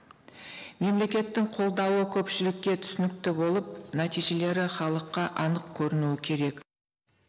мемлекеттің қолдауы көпшілікке түсінікті болып нәтижелері халыққа анық көрінуі керек